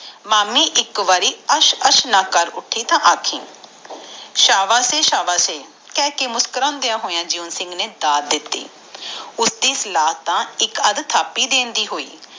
ਮਾਮੀ ਇਕ ਵਾਰੀ ਅਸ਼ ਅਸ਼ ਨਾ ਕਰ ਛਡਿ ਤਾ ਦਸੀ ਸ਼ਾਬਾਸ਼ ਏ ਸ਼ਾਬਾਸ਼ ਏ ਕਹਿ ਕੇ ਮੁਸ੍ਕੁਰਾਨਦਿਆ ਹੋਇਆ ਜਿਉਂ ਸਿੰਘ ਨੇ ਦੱਤ ਦਿਤੀ ਉਸਦੀ ਸਲਾਹ ਤਾ ਥਾਪਿ ਦੇਣ ਦੇ ਦੀ ਹੋਏ